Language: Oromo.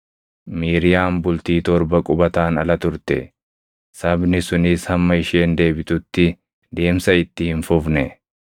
Miiriyaam bultii torba qubataan ala turte; sabni sunis hamma isheen deebitutti deemsa itti hin fufne.